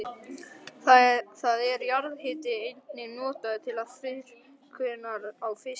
Þá er jarðhitavatn einnig notað til þurrkunar á fiski.